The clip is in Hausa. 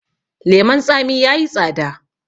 leman tsami ya yi tsada